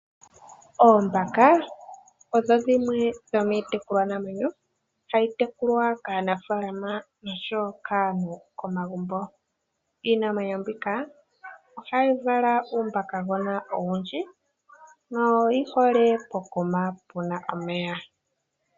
Oombaka odho dhimwe dhomiitekulwanamwenyo hayi tekulwa kaanafalama noshowo kaantu komagumbo. Iinamwenyo mbika ohayi vala uumbakagona owundji noyi hole pokuma puna omeya.